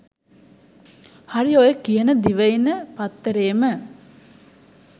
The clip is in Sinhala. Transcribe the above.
හරි ඔය කියන දිවයින පත්තරේම